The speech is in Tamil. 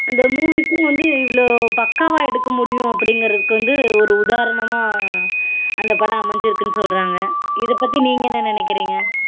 அந்த movies ம் வந்து இவ்ளோ பக்காவ எடுக்கமுடியு அப்படீங்றதுக்கு வந்து ஒரு உதாரணமா அந்த படம் அமைஞ்சிருக்குன்னு சொல்றாங்க இதபத்தி நீங்க என்ன நினைக்குறீங்க